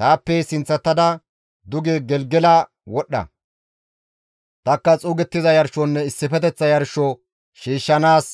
«Taappe sinththatada duge Gelgela wodhdha; tanikka xuugettiza yarshonne issifeteththa yarsho shiishshanaas